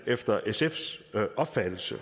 efter sfs opfattelse